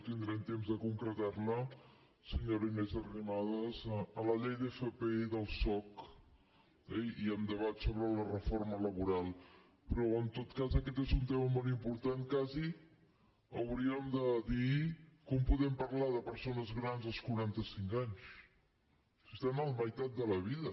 tindrem temps de concretar la senyora inés arrimadas en la llei d’fp i del soc i en debat sobre la reforma laboral però en tot cas aquest és un tema molt important quasi hauríem de dir com podem parlar de persones grans als quaranta cinc anys si estan a la meitat de la vida